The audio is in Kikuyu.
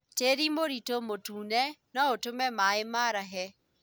Tĩri mũritũ mũtune noũtũme maĩ marahe